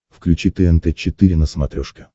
включи тнт четыре на смотрешке